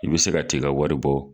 I be se ka t'i ka wari bɔ